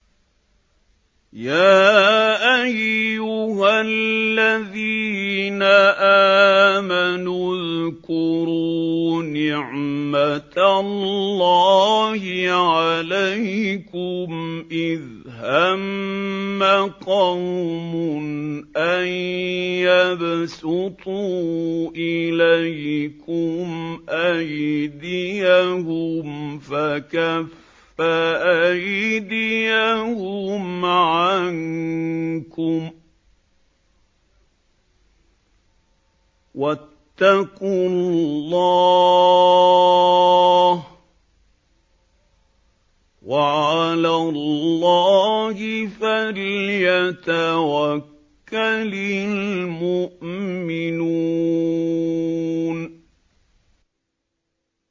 يَا أَيُّهَا الَّذِينَ آمَنُوا اذْكُرُوا نِعْمَتَ اللَّهِ عَلَيْكُمْ إِذْ هَمَّ قَوْمٌ أَن يَبْسُطُوا إِلَيْكُمْ أَيْدِيَهُمْ فَكَفَّ أَيْدِيَهُمْ عَنكُمْ ۖ وَاتَّقُوا اللَّهَ ۚ وَعَلَى اللَّهِ فَلْيَتَوَكَّلِ الْمُؤْمِنُونَ